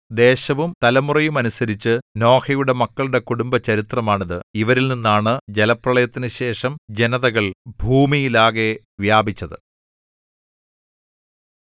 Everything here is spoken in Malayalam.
ദേശവും തലമുറയുമനുസരിച്ച് നോഹയുടെ മക്കളുടെ കുടുംബ ചരിത്രമാണ് ഇത് ഇവരിൽനിന്നാണ് ജലപ്രളയത്തിനുശേഷം ജനതകൾ ഭൂമിയിലാകെ വ്യാപിച്ചത്